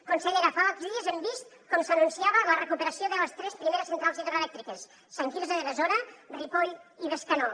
consellera fa pocs dies hem vist com s’anunciava la recuperació de les tres primeres centrals hidroelèctriques sant quirze de besora ripoll i bescanó